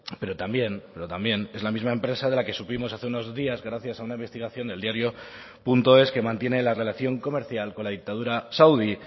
pero también pero también es la misma empresa de la que supimos hace unos días gracias a una investigación del diario punto es que mantiene la relación comercial con la dictadura saudí